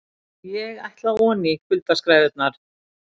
ÉG ÆTLA ONÍ, KULDASKRÆFURNAR